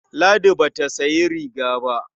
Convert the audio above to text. Ladi ba ta sayi rigar ba.